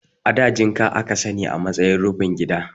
A da jinka a ka sani a matsayin rufin gida.